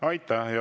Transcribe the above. Aitäh!